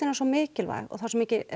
svo mikilvæg og það er svo mikið